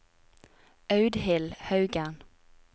Audhild Haugen